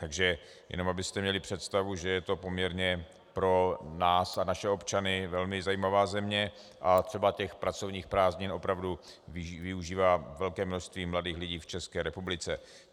Takže jenom abyste měli představu, že je to poměrně pro nás a naše občany velmi zajímavá země a třeba těch pracovních prázdnin opravdu využívá velké množství mladých lidí v České republice.